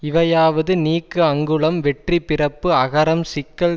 இவையாவது நீக்கு அங்குளம் வெற்றி பிறப்பு அகரம் சிக்கல்